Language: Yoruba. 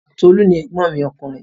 Tolu ni ẹ̀gbọ́n mi ọkùnrin